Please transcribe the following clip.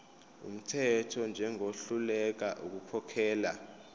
wumthetho njengohluleka ukukhokhela